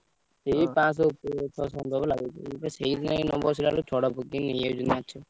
।